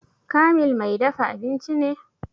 Kamil mai dafa abinci ne?